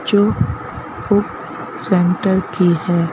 जो फुक सेंटर की है।